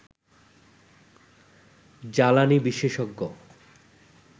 জ্বালানি বিশেষজ্ঞ